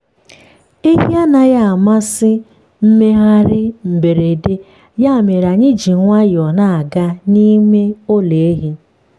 ehi anaghị amasị mmegharị mberede ya mere anyị ji nwayọọ na-aga n’ime ụlọ ehi. um